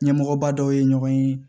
Ɲɛmɔgɔba dɔw ye ɲɔgɔn ye